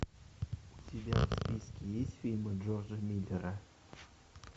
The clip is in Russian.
у тебя в списке есть фильмы джорджа миллера